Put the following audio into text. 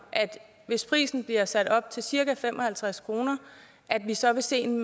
hvis prisen bliver sat op til cirka fem og halvtreds kr at vi så vil se en